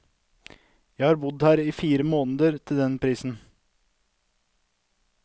Jeg har bodd her i fire måneder til den prisen.